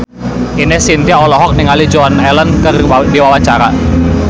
Ine Shintya olohok ningali Joan Allen keur diwawancara